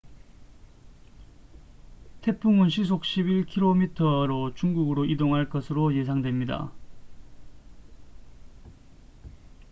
태풍은 시속 11킬로미터로 중국으로 이동할 것으로 예상됩니다